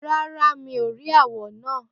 Rárá, mi ò rí àwọ̀ náà.